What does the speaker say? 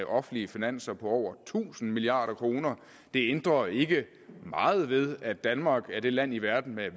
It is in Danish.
offentlige finanser på over tusind milliard kroner det ændrer ikke meget ved at danmark er det land i verden med